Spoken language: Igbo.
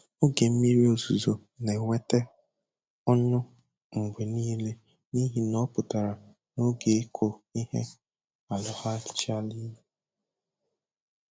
Oge mmiri ozuzo na-eweta ọṅụ mgbe niile n'ihi na ọ pụtara na oge ịkụ ihe alọghachila.